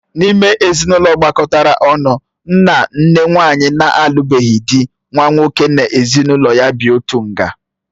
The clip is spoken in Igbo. N'ime ezinụlọ gbakọtara ọnụ nna, nne, nwanyị na-alubeghi dị, nwa nwoke na-ezinụlọ ya bị otu nga.